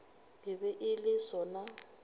e be e le sona